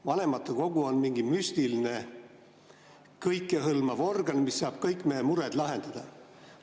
Vanematekogu oleks nagu mingi müstiline, kõikehõlmav organ, mis saab kõik meie mured lahendada.